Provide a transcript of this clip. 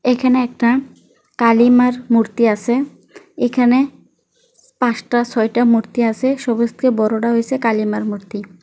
এখানে একটা কালিমারমূর্তি আছেএখানে পাঁচটা ছয়টা মূর্তি আছে সবুজকে বড়রা হয়েছে কালিমার মূর্তি ।